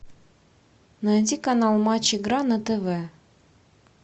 найди канал матч игра на тв